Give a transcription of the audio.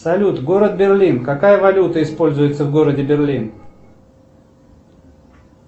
салют город берлин какая валюта используется в городе берлин